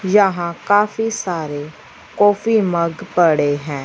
यहां काफी सारे कॉफी मग पड़े हैं।